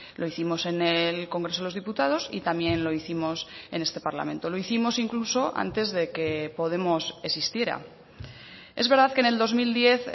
lo hicimos en el congreso de los diputados y también lo hicimos en este parlamento lo hicimos incluso antes de que podemos existiera es verdad que en el dos mil diez